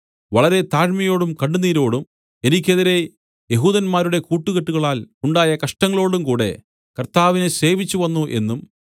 വളരെ താഴ്മയോടും കണ്ണുനീരോടും എനിക്കെതിരെ യെഹൂദന്മാരുടെ കൂട്ടുകെട്ടുകളാൽ ഉണ്ടായ കഷ്ടങ്ങളോടും കൂടെ കർത്താവിനെ സേവിച്ചു വന്നു എന്നും